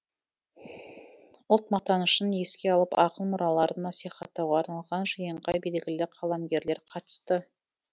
ұлт мақтанышын еске алып ақын мұраларын насихаттауға арналған жиынға белгілі қаламгерлер қатысты